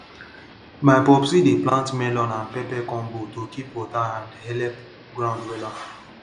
my popsi dey plant melon and pepper combo to keep water and helep ground wella